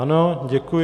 Ano, děkuji.